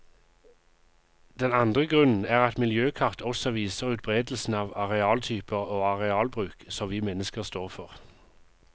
Den andre grunnen er at miljøkart også viser utberedelsen av arealtyper og arealbruk som vi mennesker står for.